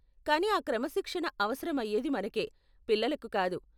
కానీ ఆ క్రమశిక్షణ అవసరం అయేది మనకే, పిల్లలకు కాదు.